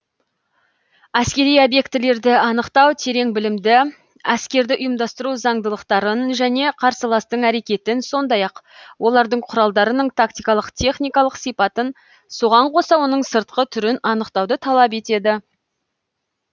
әскери обьектілерді анықтау терең білімді әскерді ұйымдастыру зандылықтарын және қарсыластың әрекетін сондай ақ олардың құралдарының тактикалық техникалық сипатын соған қоса оның сыртқы түрін анықтауды талап етеді